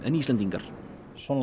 Íslendingar svona